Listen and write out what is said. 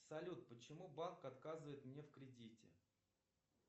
салют почему банк отказывает мне в кредите